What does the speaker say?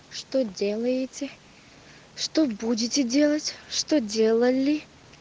что делаете что будете делать что делали